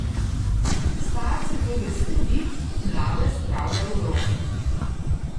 Starce to veseli, mlade spravlja v grozo.